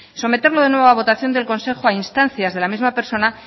someterlo de nuevo a votación del consejo a instancias de la misma persona